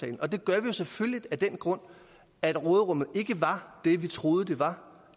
og det gør vi selvfølgelig af den grund at råderummet ikke var det vi troede det var